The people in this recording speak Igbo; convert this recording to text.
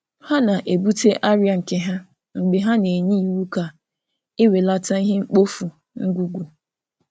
Ha na-ebute arịa nke ha mgbe ha na-enye iwu ka ewelata ihe mkpofu ngwugwu.